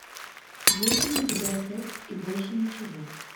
есть ли у тебя секс и больше ничего